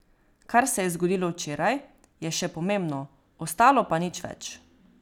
Kar se je zgodilo včeraj, je še pomembno, ostalo pa nič več.